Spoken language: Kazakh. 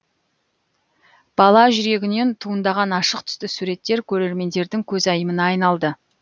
бала жүрегінен туындаған ашық түсті суреттер көрермендердің көзайымына айналды